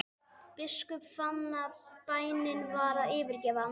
Biskup fann að bænin var að yfirgefa hann.